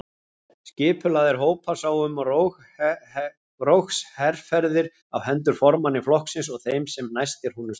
Skipulagðir hópar sáu um rógsherferðir á hendur formanni flokksins og þeim sem næstir honum stóðu.